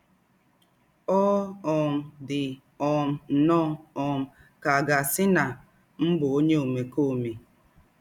Ọ̀ um dì um nnọ́ọ́ um ká à gà-àsí nà m̀ bú ònyè ómèkómè.